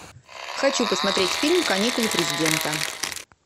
хочу посмотреть фильм каникулы президента